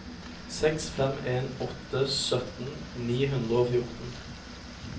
seks fem en åtte sytten ni hundre og fjorten